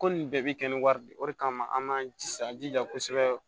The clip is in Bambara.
Ko nin bɛɛ bi kɛ ni wari de ye o de kama an m'an jija an jija kosɛbɛ